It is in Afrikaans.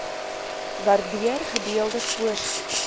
waardeur gedeelde voorspoed